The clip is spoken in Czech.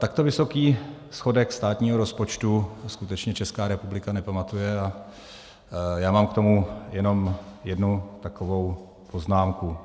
Takto vysoký schodek státního rozpočtu skutečně Česká republika nepamatuje a já mám k tomu jenom jednu takovou poznámku.